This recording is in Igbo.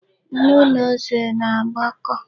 Nnu na ose na-agakọ.